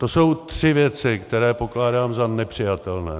To jsou tři věci, které pokládám za nepřijatelné.